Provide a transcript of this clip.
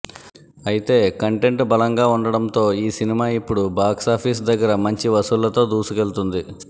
ఐతే కంటెంట్ బలంగా ఉండటంతో ఈ సినిమా ఇప్పుడు బాక్సాఫీస్ దగ్గర మంచి వసూళ్లతో దూసుకెళ్తోంది